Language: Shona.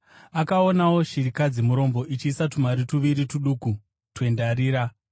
Akaonawo chirikadzi murombo ichiisa tumari tuviri tuduku twendarira.